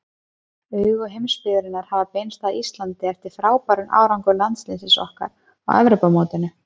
Augu heimsbyggðarinnar hafa beinst að Íslandi eftir frábæran árangur landsliðsins okkar á Evrópumótinu.